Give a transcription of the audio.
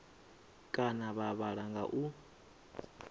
kana vha vhala nga u